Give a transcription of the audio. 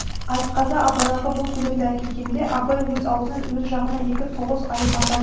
айтқазы абайларға бұл сәлемді әкелгенде абай өз аузынан өз жағына екі тоғыз айып атады